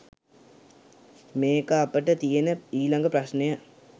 මේකෙ අපට තියෙන ඊළඟ ප්‍රශ්නය